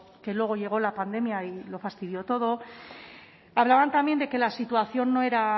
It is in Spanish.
que luego llegó la pandemia y lo fastidió todo hablaban también de que la situación no era